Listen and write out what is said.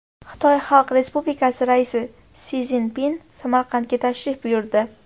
Xitoy Xalq Respublikasi Raisi Si Szinpin Samarqandga tashrif buyurdi.